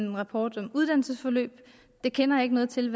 en rapport om uddannelsesforløb jeg kender ikke noget til